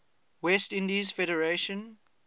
west indies federation